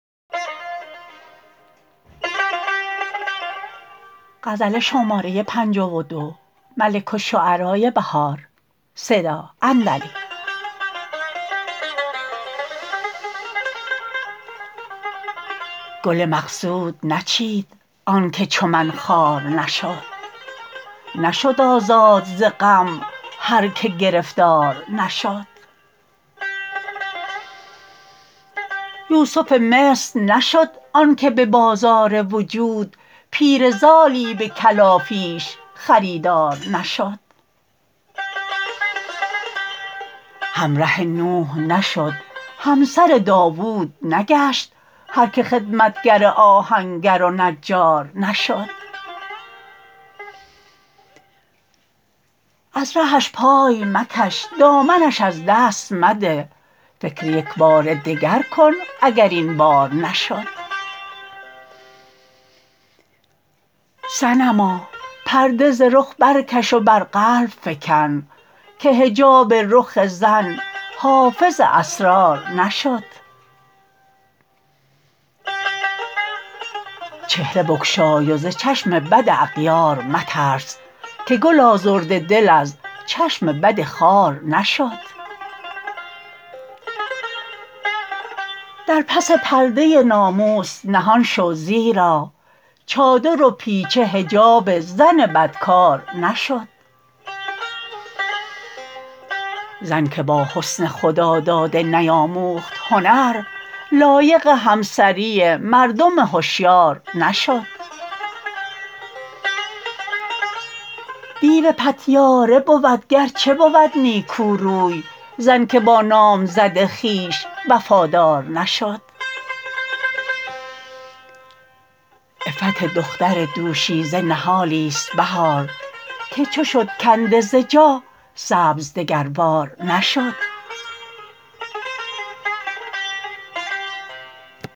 گل مقصود نچید آن که چو من خوار نشد نشد آزاد ز غم هر که گرفتار نشد یوسف مصر نشد آن که به بازار وجود پیره زالی به کلافیش خریدار نشد همره نوح نشد همسر داود نگشت هرکه خدمتگر آهنگر و نجار نشد از رهش پای مکش دامنش از دست منه فکر یکبار دگر کن اگر این بار نشد صنما پرده ز رخ برکش و بر قلب فکن که حجاب رخ زن حافظ اسرار نشد چهره بگشای و ز چشم بد اغیار مترس که گل آزرده دل از چشم بد خار نشد در پس پرده ناموس نهان شو زیرا چادر و پیچه حجاب زن بدکار نشد زن که با حسن خداداده نیاموخت هنر لایق همسری مردم هشیار نشد دیو پتیاره بود گرچه بود نیکوروی زن که با نامزد خویش وفادار نشد عفت دختر دوشیزه نهالی است بهار که چو شدکنده ز جا سبز دگربار نشد